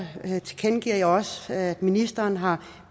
tilkendegiver jeg også at ministeren har